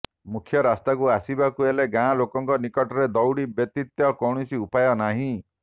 ମୁଖ୍ୟ ରାସ୍ତାକୁ ଆସିବାକୁ ହେଲେ ଗାଁ ଲୋକଙ୍କ ନିକଟରେ ଦଉଡ଼ି ବ୍ୟାତିତ କୌଣସି ଉପାୟ ନାହିଁ